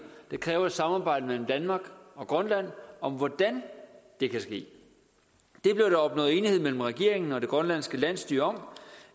der kræver et samarbejde mellem danmark og grønland om hvordan det kan ske det blev der opnået enighed mellem regeringen og det grønlandske landsstyre om